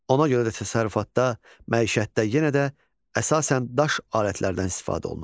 Ona görə də təsərrüfatda, məişətdə yenə də əsasən daş alətlərdən istifadə olunurdu.